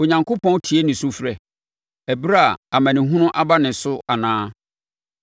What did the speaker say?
Onyankopɔn tie ne sufrɛ ɛberɛ a amanehunu aba ne so anaa?